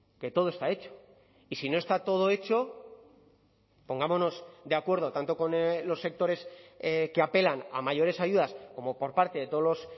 que todo está hecho y si no está todo hecho pongámonos de acuerdo tanto con los sectores que apelan a mayores ayudas como por parte de todos los